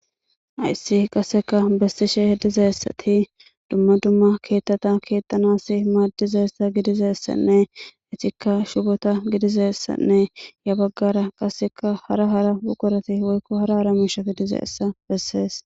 ayssi qasseka bessishe hedizeessati dumma dumma keettata keettanassi maaddizeessa gidizeessanne itikka shubota gidizeessanne ya baggara qasseka hara hara bukkorati woykko hara hara miishati dizeessa bessees